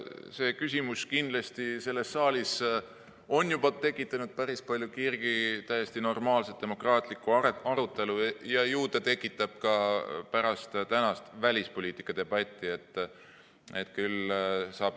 See küsimus on kindlasti selles saalis juba tekitanud päris palju kirgi, täiesti normaalset demokraatlikku arutelu, ja ju ta tekitab seda ka pärast tänast välispoliitika debatti.